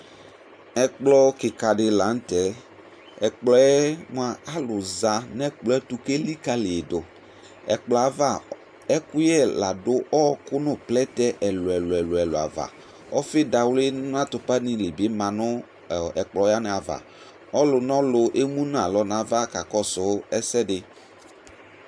Ɛkplɔ kika di laŋtɛƐkplɔɛ mua alu za nɛkplɔɛ tu kelikaliduƐkplɔɛ'ava ɛkʋyɛ ladʋ ɔɔkʋ nu plɛtɛ ɛlu ɛlu ɛlu ɛlu ava Ɔfidawli natupa nili bi manʋ ɔ ɛkplɔ wani'avaƆlu nɔlu emu nalɔ nava kakɔsʋ ɛsɛdi